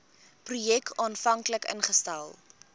projek aanvanklik ingestel